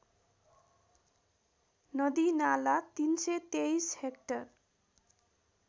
नदीनाला ३२३ hectare